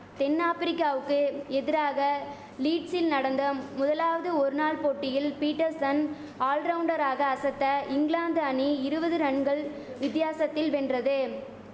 தென் ஆப்ரிக்காவுக்கு எதிராக லீட்சில் நடந்த முதலாவது ஒருநாள் போட்டியில் பீட்டர்சன் ஆல்ரவுண்டராக அசத்த இங்கிலாந்து அணி இருவது ரன்கள் வித்தியாசத்தில் வென்றது